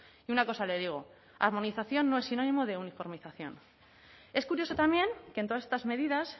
y una cosa le digo armonización no es sinónimo de uniformización es curioso también que en todas estas medidas